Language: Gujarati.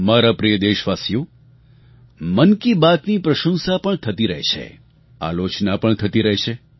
મારા પ્રિય દેશવાસીઓ મન કી બાતની પ્રશંસા પણ થતી રહે છે આલોચના પણ થતી રહે છે